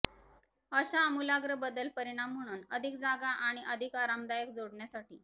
अशा आमूलाग्र बदल परिणाम म्हणून अधिक जागा आणि अधिक आरामदायक जोडण्यासाठी